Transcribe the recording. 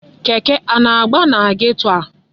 Keke a na-agba na geto a?